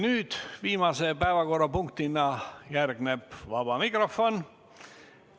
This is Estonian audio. Nüüd järgneb viimase päevakorrapunktina vaba mikrofon.